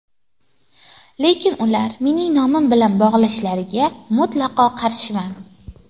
Lekin, ularni mening nomim bilan bog‘lashlariga mutlaqo qarshiman.